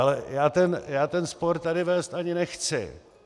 Ale já ten spor tady vést ani nechci.